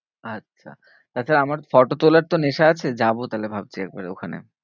আচ্ছা তাছাড়া আমার ফটো তোলার তো নেশা আছে যাবো তাহলে ভাবছি একবার ওখানে।